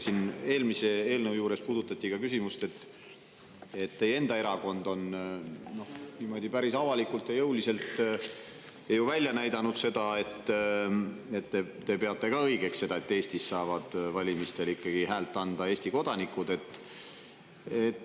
Siin eelmise eelnõu juures puudutati ka küsimust, et teie enda erakond on päris avalikult ja jõuliselt välja näidanud seda, et te peate ka õigeks, et Eestis saavad valimistel ikkagi hääle anda Eesti kodanikud.